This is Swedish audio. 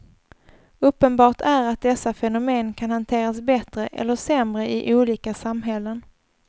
Uppenbart är att dessa fenomen kan hanteras bättre eller sämre i olika samhällen.